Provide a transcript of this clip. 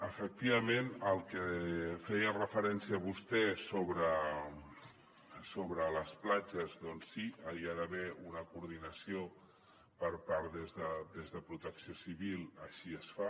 efectivament al que feia referència vostè sobre les platges doncs sí hi ha d’haver una coordinació per part de protecció civil així es fa